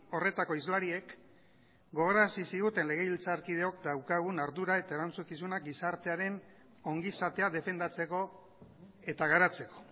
horretako hizlariek gogorazi ziguten legebiltzarkideok daukagun ardura eta erantzukizuna gizartearen ongizatea defendatzeko eta garatzeko